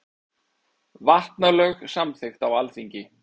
Vatnalög samþykkt á Alþingi.